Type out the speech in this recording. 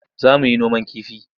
Za mu yi noman kifi.